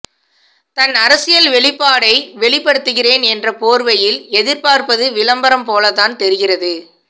தன் அரசியல் வெளிப்பாடை வெளிப்படுத்துகிறேன் என்ற போர்வையில் எதிர்பார்ப்பது விளம்பரம் போலத்தான் தெரிகிறது